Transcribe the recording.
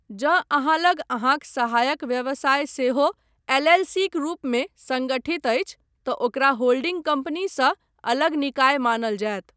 जँ अहाँ लग अहाँक सहायक व्यवसाय सेहो एल.एल.सी.क रूपमे संगठित अछि, तँ ओकरा होल्डिंग कंपनीसँ अलग निकाय मानल जायत।